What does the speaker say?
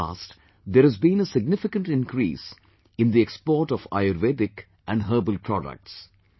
In the past, there has been a significant increase in the export of Ayurvedic and herbal products